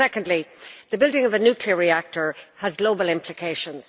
Secondly, the building of a nuclear reactor has global implications.